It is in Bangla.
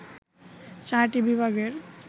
চারটি বিভাগের